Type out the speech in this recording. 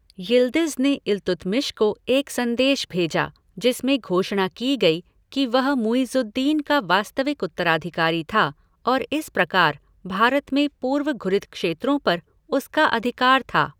Yildiz ने इल्तुतमिश को एक संदेश भेजा, जिसमें घोषणा की गई कि वह मुइज़ुद् दीन का वास्तविक उत्तराधिकारी था और इस प्रकार, भारत में पूर्व घुरिद क्षेत्रों पर उसका अधिकार था।